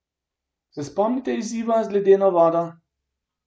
Se spomnite izziva z ledeno vodo?